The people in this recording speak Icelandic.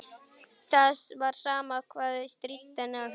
Það var sama hvað þau stríddu henni á þessu.